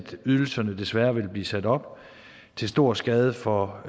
ydelserne desværre vil blive sat op til stor skade for